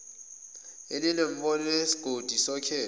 elinenombholo yesigodi sokhetho